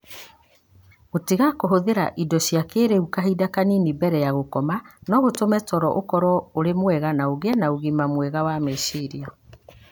Gũtiga kũhũthĩra indo cia kĩĩrĩu kahinda kanini mbere ya gũkoma no gũtũme toro ũkorũo ũrĩ mwega na ũgĩe na ũgima mwega wa meciria.